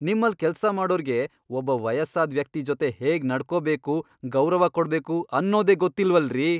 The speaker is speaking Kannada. ನಿಮ್ಮಲ್ಲ್ ಕೆಲ್ಸ ಮಾಡೋರ್ಗೆ ಒಬ್ಬ ವಯಸ್ಸಾದ್ ವ್ಯಕ್ತಿ ಜೊತೆ ಹೇಗ್ ನಡ್ಕೊಬೇಕು, ಗೌರವ ಕೊಡ್ಬೇಕು ಅನ್ನೋದೇ ಗೊತ್ತಿಲ್ವಲ್ರೀ!